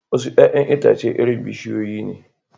Wasu 'ya'yan itace irin bishiyoyi ne